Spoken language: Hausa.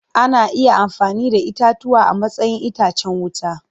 Ana iya amfani da itatuwa a matsayin itacen wuta.